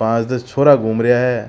पांच दस छोरा घूम रा है।